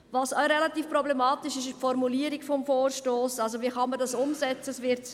Auch relativ problematisch ist die Formulierung des Vorstosses, das heisst, wie man dies umsetzen kann.